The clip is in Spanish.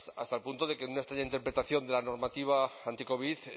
hasta el punto de que en una extraña interpretación de la normativa anticovid